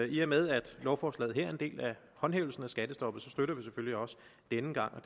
i og med at lovforslaget her er en del af håndhævelsen af skattestoppet støtter vi det selvfølgelig også denne gang